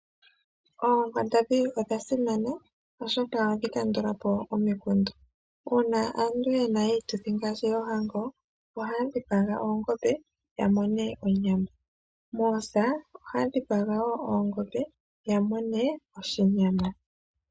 Oonkwandambi odha simana oshoka ohadhi kandulapo omikundu, uuna aantu yena iituthi ngaashi oohango ohaya dhipaga oongombe ya mone onyama nomoosa ohaya dhipaga oongombe ya mone oshinyama.